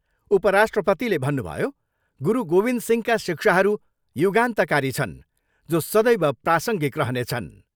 उपराष्ट्रपतिले भन्नुभयो, गुरु गोविन्द सिंहका शिक्षाहरू युगान्तकारी छन् जो सदैव प्रासङ्गिक रहनेछन्।